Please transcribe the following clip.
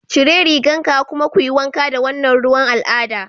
Cire rigan ka kuma kuyi wanka da wannan ruwan al'ada